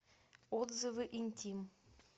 отзывы интим